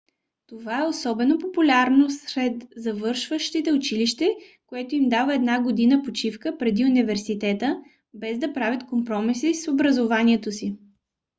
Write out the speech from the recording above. това е особено популярно сред завършващите училище което им дава една година почивка преди университета без да правят компромиси с образованието си